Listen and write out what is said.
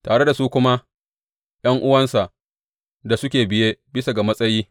Tare da su kuma ’yan’uwansa da suke biye bisa ga matsayi.